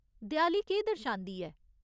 देआली केह् दर्शांदी ऐ ?